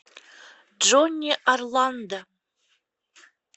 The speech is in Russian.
джонни орландо